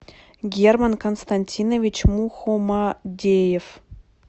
герман константинович мухомадеев